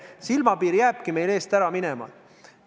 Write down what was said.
Kas see silmapiir jääbki meil eest ära minema?